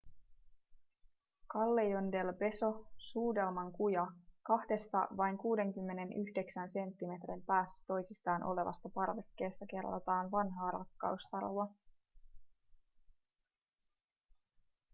callejon del beso suudelman kuja. kahdesta vain 69 senttimetrin päässä toisistaan olevasta parvekkeesta kerrotaan vanhaa rakkaustarua